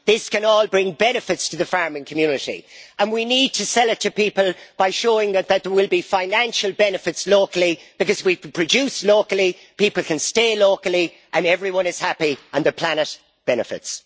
This can all bring benefits to the farming community, and we need to sell it to people by showing that there will be financial benefits locally, because if we produce locally, people can stay locally and everyone is happy and the planet benefits.